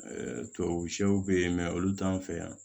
tubabu sɛw bɛ yen olu t'an fɛ yan